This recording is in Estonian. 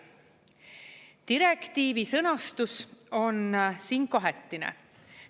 Direktiivi sõnastus on siin kahetine.